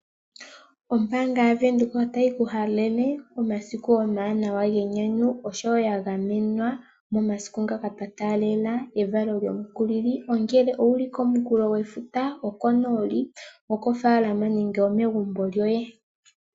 Ombaanga yaBank Windhoek otayi kuhalele omasiku omawanawa genyanyu osho wo ga gamenwa momasiku ngaka twatalela evalo lyomukulili ongele owuli komunkunkulo gwefuta, okonooli, okofaalama nenge omegumbo lyoye.